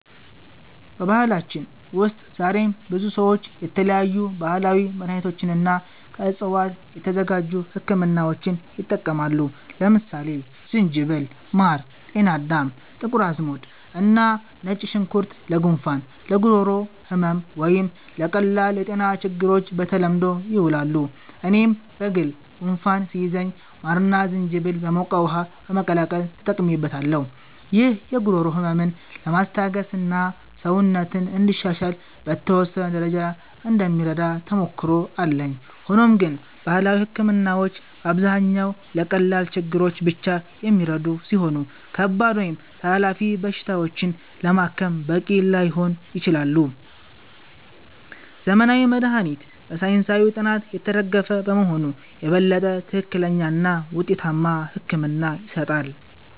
በባህላችን ውስጥ ዛሬም ብዙ ሰዎች የተለያዩ ባህላዊ መድሃኒቶችንና ከዕፅዋት የተዘጋጁ ህክምናዎችን ይጠቀማሉ። ለምሳሌ ዝንጅብል፣ ማር፣ ጤናዳም፣ ጥቁር አዝሙድ እና ነጭ ሽንኩርት ለጉንፋን፣ ለጉሮሮ ህመም ወይም ለቀላል የጤና ችግሮች በተለምዶ ይውላሉ። እኔም በግል ጉንፋን ሲይዘኝ ማርና ዝንጅብል በሞቀ ውሃ በመቀላቀል ተጠቅሜበታለሁ። ይህ የጉሮሮ ህመምን ለማስታገስና ሰውነትን እንዲሻሻል በተወሰነ ደረጃ እንደሚረዳ ተሞክሮ አለኝ። ሆኖም ግን ባህላዊ ህክምናዎች በአብዛኛው ለቀላል ችግሮች ብቻ የሚረዱ ሲሆኑ፣ ከባድ ወይም ተላላፊ በሽታዎችን ለማከም በቂ ላይሆኑ ይችላሉ። ዘመናዊ መድሃኒት በሳይንሳዊ ጥናት የተደገፈ በመሆኑ የበለጠ ትክክለኛና ውጤታማ ሕክምና ይሰጣል።